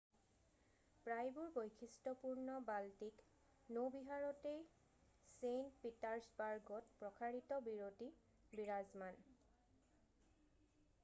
প্ৰায়বোৰ বৈশিষ্টপূৰ্ণ বাল্টিক নৌবিহাৰতেই ছেইন্ট পিটাৰ্ছবাৰ্গত প্ৰসাৰিত বিৰতি বিৰাজমান